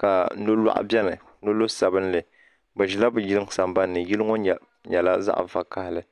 ka nolɔɣu bɛni nolɔɣu sabinli bi zila bi yiŋa sambani ni yili ŋɔ yɛla zaɣi vakahali.